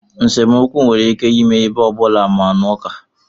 Nsemokwu nwere ike ime ebe ọ bụla, ma n'uka.